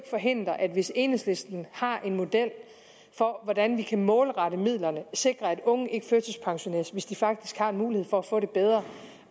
forhindre at hvis enhedslisten har en model for hvordan vi kan målrette midlerne sikre at unge ikke førtidspensioneres hvis de faktisk har mulighed for at få det bedre